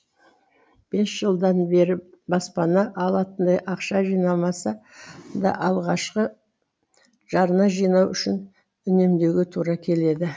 бес жылдан бері баспана алатындай ақша жинамаса да алғашқы жарна жинау үшін үнемдеуге тура келеді